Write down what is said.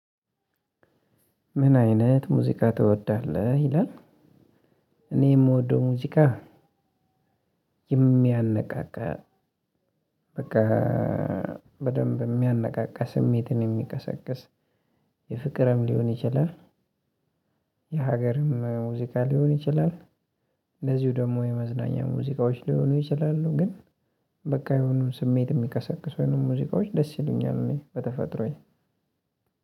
ምን አይነት ሙዚቃ ትወዳለህ ይላል? እኔ የምወደው ሙዚቃ የሚያነቃቃ በቃ በደንብ የሚያነቃቃ ስሜትን የሚቀሰቅስ። የፍቅርም ሊሆን ይችላል። የሀገርም ሙዚቃ ሊሆን ይችላል። እንደዚሁ ደግሞ የመዝናኛ ሙዚቃዎች ሊሆኑ ይችላሉ። ግን በቃ የሆኑ ስሜት የሚቀሰቅሱ የሆኑ ሙዚቃዎች ደስ ይሉኛል እኔ በተፈጥሮየ።